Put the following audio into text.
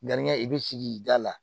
Dannikɛ i bɛ sigi da la